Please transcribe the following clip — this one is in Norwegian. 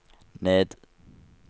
ned